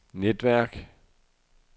netværk